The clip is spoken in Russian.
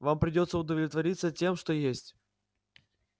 вам придётся удовлетвориться тем что есть